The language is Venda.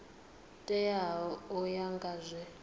teaho u ya nga zwe